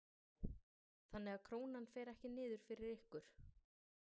Sölvi: Þannig að Krónan fer ekki niður fyrir ykkur?